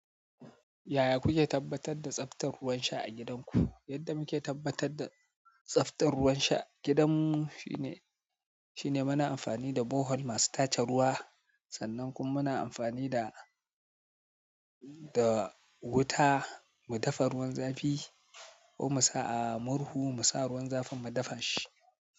Yaya kuke tabbatar da tsaftar ruwan sha a gidanku? Yadda muke tabbatar da tsaftar ruwan sha a gidan mu shine muna amfani da borehole masu tace ruwa. Sannan kuma muna amfani da, da wuta mu dafa ruwan zafi ko mu sa a murhu mu sa ruwan zafin mu dafa shi.